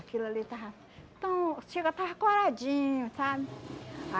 Aquilo ali estava tão... chega estava coradinho, sabe?